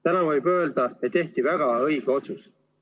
Täna võib öelda, et tehti väga õige otsus.